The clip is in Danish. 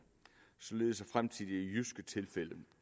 således at fremtidige jyske tilfælde